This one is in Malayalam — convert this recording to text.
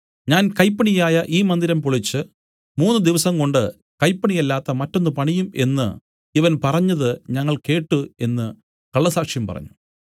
ഞാൻ കൈപ്പണിയായ ഈ മന്ദിരം പൊളിച്ച് മൂന്നു ദിവസംകൊണ്ട് കൈപ്പണിയല്ലാത്ത മറ്റൊന്നു പണിയും എന്നു ഇവൻ പറഞ്ഞത് ഞങ്ങൾ കേട്ട് എന്നു കള്ളസാക്ഷ്യം പറഞ്ഞു